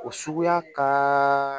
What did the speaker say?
O suguya ka